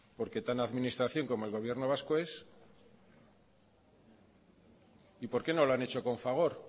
porque tan administración como el gobierno vasco es y por qué no lo han hecho con fagor